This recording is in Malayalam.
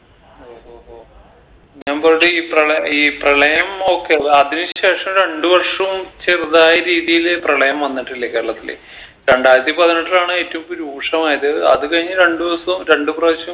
ഓഹോഹോ പ്രള ഈ പ്രളയം okay അതതിന് ശേഷം രണ്ട് വർഷോം ചെറുതായ രീതിയില് പ്രളയം വന്നിട്ടില്ലേ കേരളത്തില് രണ്ടായിരത്തി പതിനെട്ടിലാണ് ഏറ്റും രൂക്ഷമായത് അത് കഴിഞ്ഞ് രണ്ട് ദിവസോം രണ്ട് പ്രവശ്യം